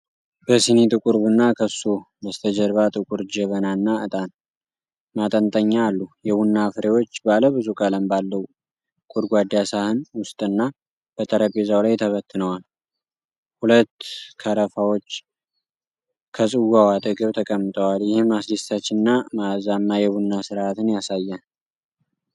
በሲኒ ጥቁር ቡና፣ ከሱ በስተጀርባ ጥቁር ጀበናና ዕጣን ማጠንጠኛ አሉ። የቡና ፍሬዎች ባለ ብዙ ቀለም ባለው ጎድጓዳ ሳህን ውስጥና በጠረጴዛው ላይ ተበትነዋል። ሁለት ቀረፋዎች ከጽዋው አጠገብ ተቀምጠዋል፣ ይህም አስደሳችና መዓዛማ የቡና ሥርዓትን ያሳያል።